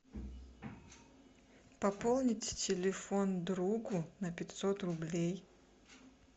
пополнить телефон другу на пятьсот рублей